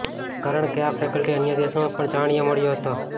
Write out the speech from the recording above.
કારણ કે આ ફેકલ્ટી અન્ય દેશોમાં પણ જાણીએ મળ્યો હતો